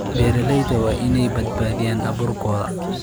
Beeralayda waa inay badbaadiyaan abuurkooda.